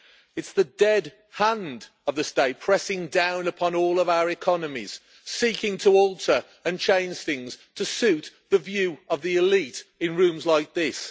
it is the dead hand of the state pressing down upon all of our economies, seeking to alter and change things to suit the view of the elite in rooms like this.